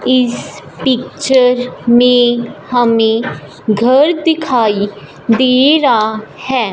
इस पिक्चर में हमें घर दिखाई दे रा है।